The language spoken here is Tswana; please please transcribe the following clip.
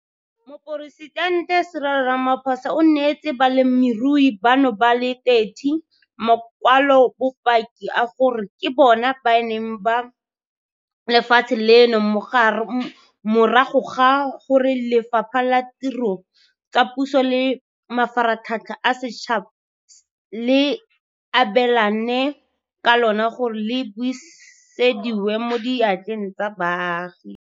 Moporesitente Cyril Ramaphosa o neetse balemirui bano ba le 30 makwalobopaki a gore ke bona beng ba lefatshe leno morago ga gore Lefapha la Ditiro tsa Puso le Mafaratlhatlha a Setšhaba le abelane ka lona gore le busediwe mo diatleng tsa baagi.